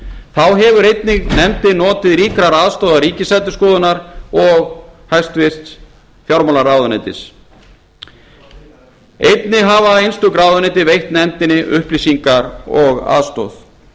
þá hefur nefndin einnig notið aðstoðar ríkisendurskoðunar og hæstvirtur fjármálaráðuneytis einnig hafa einstök ráðuneyti veitt nefndinni upplýsingar og aðstoð